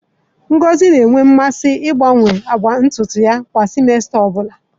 Ngosi na-enwe mmasị ịgbanwe agba ntutu ya kwa simesita ọ bụla.